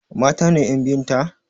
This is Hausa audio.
Mata ne ƴan biyun ta?